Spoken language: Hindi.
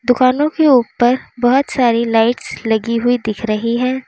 दुकानों के ऊपर बहुत सारी लाइट्स लगी हुई दिख रही है।